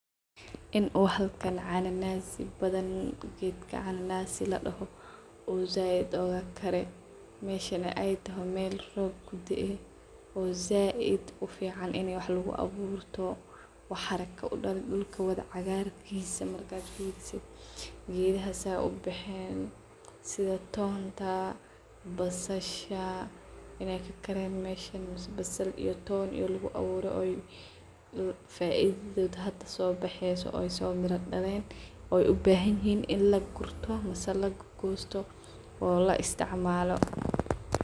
In oo haalkan cananaas badhan geedka cananaas ladaho oo zaid oogagare. Meshani aay tohoo meel roob kudaaye oo zaid u fican in waxa lagu aburto waxa xarago oo daan dulka wadha cagaar kiisa marka aad fiirisid gedaha saa ubaxeen sidhaa toonta basasha inay ka kareen meshan basaal iyo toon lagu abuuro oo faa ididhoot hada soo baxeyso oo so mira daleen oo ubahanyihiin in lagurto misa lagugosto oo laa isticmalo .